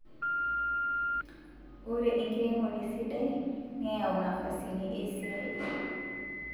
Ore enkiremore sidai neyau nafasini esiai